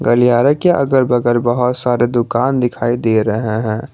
गलियारे के अगल बगल बहुत सारे दुकान दिखाई दे रहे हैं।